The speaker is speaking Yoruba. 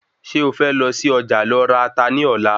Se o fẹ lọ sí Ọjà lọ ra Ata ní Ọ̀la?